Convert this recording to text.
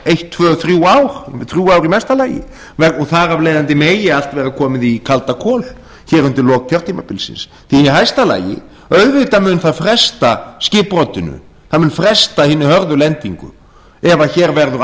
eitt tvö þrjú ár þrjú ár í mesta lagi og þar af leiðandi megi allt vera komið í kaldakol undir lok kjörtímabilsins því í hæsta lagi auðvitað mun það fresta skipbrotinu það mun fresta hinni hörðu lendingu ef hér verður